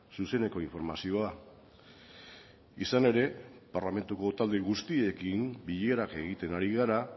zuzeneko informazioa izan ere parlamentuko talde guztiekin bilera egiten ari gara